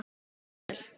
Kveðja, Daníel.